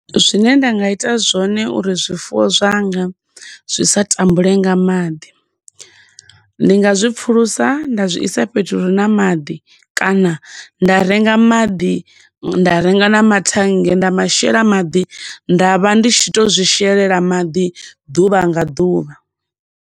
Zwine nda nga ita zwone uri zwifuwo zwanga zwi sa tambule nga maḓi ndi nga zwi pfulusa nda zwi isa fhethu hure na maḓi kana nda renga maḓi, nda renga na mathennge nda mashela maḓi, nda vha ndi tshi to zwishelela maḓi ḓuvha nga ḓuvha.